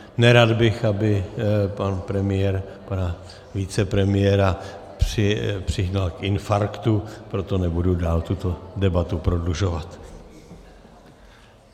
Nerad bych, aby pan premiér pana vicepremiéra přihnal k infarktu, proto nebudu dál tuto debatu prodlužovat.